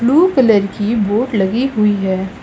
Blue colour की boat लगी हुई है।